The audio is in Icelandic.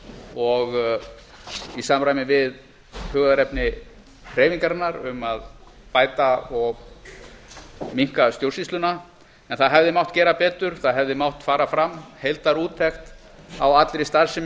og í samræmi við hugðarefni hreyfingarinnar um að bæta og minnka stjórnsýsluna en það hefði mátt gera betur það hefði mátt fara fram heildarúttekt á allri starfsemi